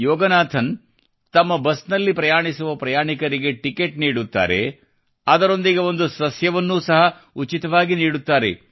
ಯೋಗನಾಥನ್ ತಮ್ಮ ಬಸ್ನಲ್ಲಿ ಪ್ರಯಾಣಿಸುವ ಪ್ರಯಾಣಿಕರಿಗೆ ಟಿಕೆಟ್ ನೀಡುತ್ತಾರೆ ಮತ್ತು ಅದರೊಂದಿಗೆ ಒಂದು ಸಸ್ಯವನ್ನು ಸಹ ಉಚಿತವಾಗಿ ನೀಡುತ್ತಾರೆ